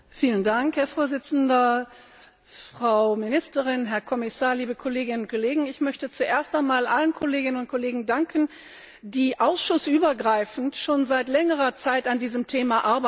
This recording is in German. Herr Präsident, Frau Ministerin, Herr Kommissar, liebe Kolleginnen und Kollegen! Ich möchte zuerst einmal allen Kolleginnen und Kollegen danken, die ausschussübergreifend schon seit längerer Zeit an diesem Thema arbeiten.